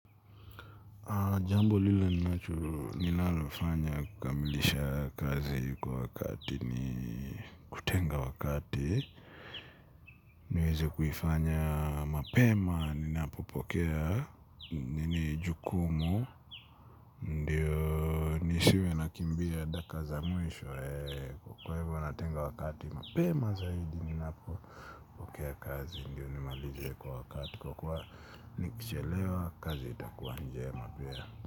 Na jambo ninalolifanya kukamilisha kazi kwa wakati ni kutenga wakati niweze kuifanya mapema ninapopokea jukumu ndiyo nisiwe nakimbia daka za mwisho kwa hivyo natenga wakati mapema zaidi ni napopokea kazi ndiyo nimalize kwa wakati kwa kuwa nikichelewa kazi haitakuwa njema pia.